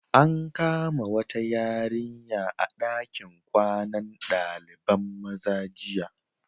An kama wata yarinya a dakin kwanan Dalibain maza jiya.